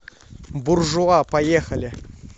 буржуа поехали